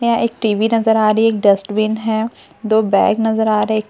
यहाँ एक टीवी नजर आ रही हैं एक डस्टबिन हैं दो बैग नजर आ रहे हैं एक --